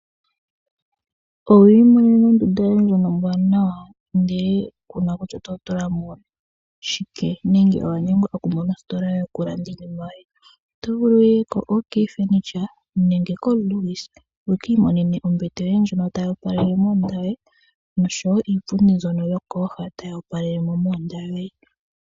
Owu imonena ondunda yoye ombwaanawa, ihe ku na kutya oto tula mo shike nenge owa nyengwa okumona ositola yokulanda iinima yoye? Oto vulu wu ye koOK furniture nenge koLewis wu ka imonene ombete yoye ndjono tayi opalele mondunda yoye noshowo iipundi mbyono yokooha tayi opalele mo mondunda yoye.